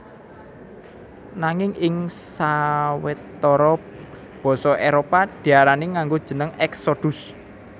Nanging ing sawetara basa Éropah diarani nganggo jeneng Exodus